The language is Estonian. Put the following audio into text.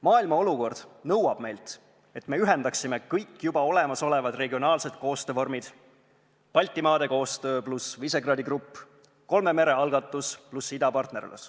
Maailma olukord nõuab meilt, et me ühendaksime kõik juba olemasolevad regionaalsed koostöövormid, Baltimaade koostöö pluss Visegrádi grupp, kolme mere algatus pluss idapartnerlus.